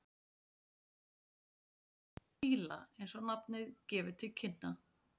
loðfílar eru af ætt fíla eins og nafnið gefur til kynna